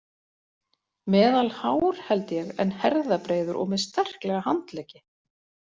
Meðalhár held ég en herðabreiður og með sterklega handleggi.